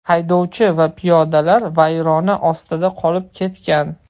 Haydovchi va piyodalar vayrona ostida qolib ketgan.